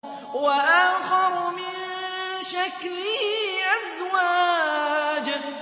وَآخَرُ مِن شَكْلِهِ أَزْوَاجٌ